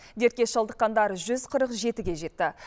дертке шалдыққандар жүз қырық жетіге жетті